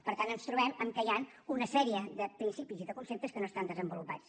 per tant ens trobem que hi han una sèrie de principis i de conceptes que no estan desenvolupats